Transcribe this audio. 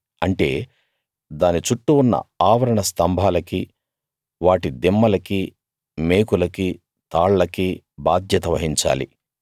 అంటే దాని చుట్టూ ఉన్న ఆవరణ స్తంభాలకీ వాటి దిమ్మలకీ మేకులకీ తాళ్లకీ బాధ్యత వహించాలి